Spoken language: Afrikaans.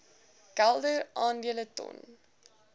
kelder aandele ton